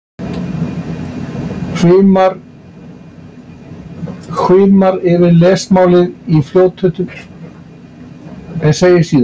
Hvimar yfir lesmálið í fljótheitum en segir síðan